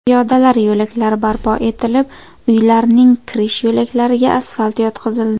Piyodalar yo‘laklari barpo etilib, uylarning kirish yo‘laklariga asfalt yotqizildi.